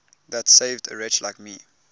that saved a wretch like me